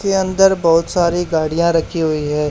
के अंदर बहोत सारी गाड़ियां रखी हुई है।